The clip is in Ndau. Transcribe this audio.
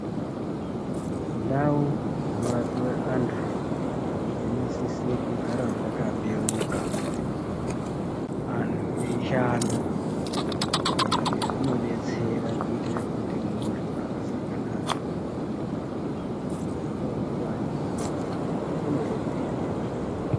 Ndau dzino rapiwe antu dzino sise kugara dzaka beuka antu ei shanda izvi zvino detsera kuitire kuti muntu akasangana nedambudziko dzingava nguwai uno detsereka.